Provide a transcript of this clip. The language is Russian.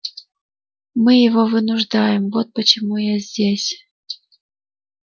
мы его вынуждаем вот почему я здесь